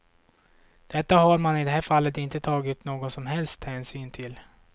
Detta har man i det här fallet inte tagit någon som helst hänsyn till.